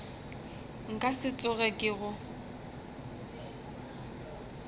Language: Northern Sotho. nka se tsoge ke go